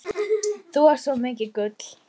Þú ert svo mikið gull.